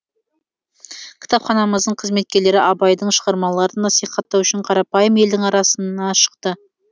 кітапханамыздың қызметкерлері абайдың шығармаларын насихаттау үшін қарапайым елдің арасына шықты